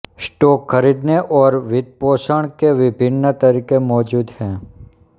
stock खरीदने और वित्तपोषण के विभिन्न तरीके मौजूद हैं